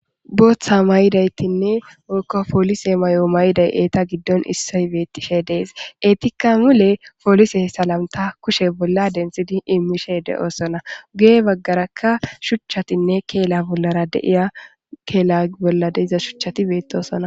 booththa mayidaytinne okka poolise may7o mayiday eeta giddon issiy beettishe dees eetikka mule poolise salamta kushe bolla dentsidi immishe de7osona ugee baggarakka shuchchatinne keela bollara deiya keela bolla deiza shuchchati beettosona